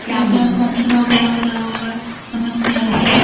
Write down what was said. ये क्या फंक्शन वगेरा हो रहा होगा समझ नहीं आ रहा है।